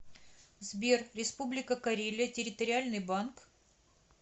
сбер республика карелия территориальный банк